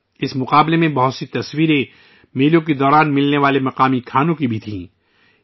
اس مقابلے میں میلوں کے دوران مقامی پکوانوں کی بہت سی تصویریں نظر آئیں